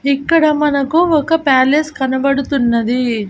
ఇక్కడ మనకు ఒక ప్యాలెస్ కనబడుతున్నది.